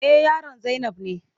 Eh, yaron zainab ne.